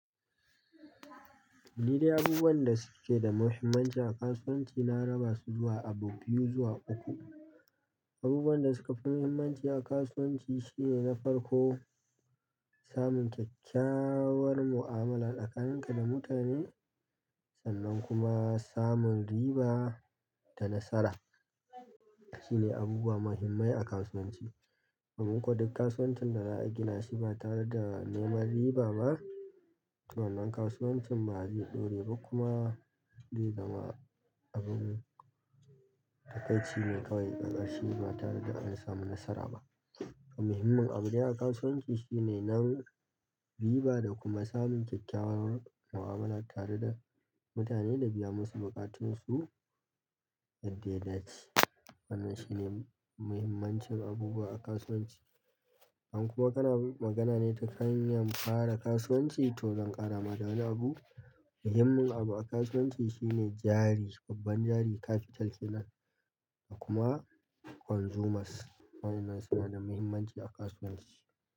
Lili abubuwan da suke da muhimmanci a kasuwanci na raba su zuwa abu biyu zuwa uku. Abubuwan da suka fi muhimmanci a kasuwanci shine na farko, samun kyakkyawar mu'amala tsakanin ka da mutane sannan kuma samun riba da nasara. Shi ne abubuwa muhimmai a kasuwanci. Domin ko duk kasuwancin da za a gina shi ba tare da neman riba ba, to wannan kasuwancin ba zai ɗore ba kuma zai zama abin takaici ne kawai ƙarƙashin ba tare da ana samun nasara ba. To muhimmin abu ne a kasuwanci shine nan riba da kuma samun kyakkyawar mu'amala tare da mutane da biya masu buƙatunsu da yadda ya dace. Wannan shi ne muhimmancin abubuwa a kasuwanci. In kuma kana magana ne ta hanyan fara kasuwanci to zan ƙara ma da wani abu. Muhimmin abu a kasuwanci shine jari, babban jari capital kenan da kuma consumers. Waɗannan suna da muhimmanci a kasuwanci.